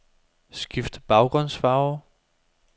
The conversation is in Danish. Skift baggrundsfarve.